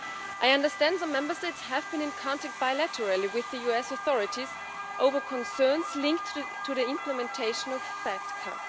I understand some Member States have been in contact bilaterally with the US authorities over concerns linked to the implementation of FATCA.